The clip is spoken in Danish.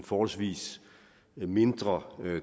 forholdsvis mindre